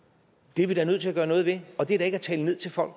det er vi da nødt til at gøre noget ved og det er da ikke at tale ned til folk